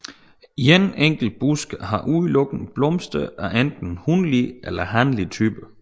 En enkelt busk har udelukkende blomster af enten hunlig eller hanlig type